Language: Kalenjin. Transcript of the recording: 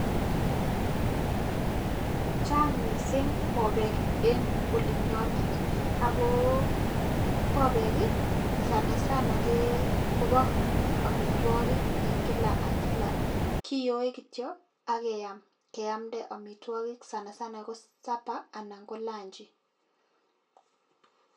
Chang mising bobek en olinyonet, ako bobek ii, sanasana ke kobo amitwogik eng kila ak kila, kiyoe kityo ak keam, keamde amitwogik sanasana ko supper anan ko lanji.